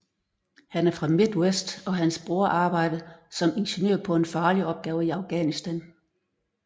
Han er fra Midwest og hans bror arbejde som ingeniør på en farlig opgave i Afghanistan